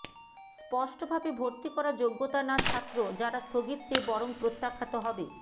স্পষ্টভাবে ভর্তি করা যোগ্যতা না ছাত্র যারা স্থগিত চেয়ে বরং প্রত্যাখ্যাত হবে